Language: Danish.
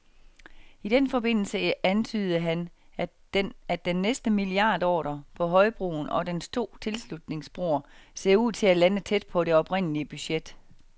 I den forbindelse antydede han, at den næste milliardordre, på højbroen og dens to tilslutningsbroer, ser ud til at lande tæt på det oprindelige budget.